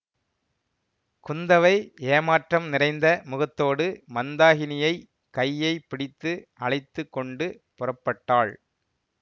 குந்தவை ஏமாற்றம் நிறைந்த முகத்தோடு மந்தாகினியை கையை பிடித்து அழைத்து கொண்டு புறப்பட்டாள்